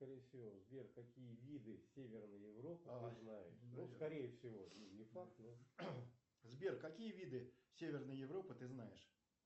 сбер какие виды северной европы ты знаешь